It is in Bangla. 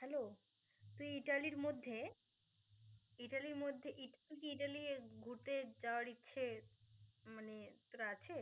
Hello তুই ইতালির মধ্যে ইতালির মধ্যে ইত~ তুই কি ইতালি ঘুরতে যাওয়ার ইচ্ছে মানে তোর আছে?